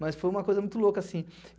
Mas foi uma coisa muito louca, assim.